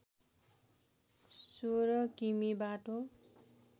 १६ किमि बाटो